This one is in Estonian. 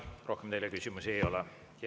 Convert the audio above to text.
Rohkem teile küsimusi ei ole.